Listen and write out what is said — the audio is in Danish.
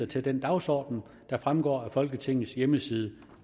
til den dagsorden der fremgår af folketingets hjemmeside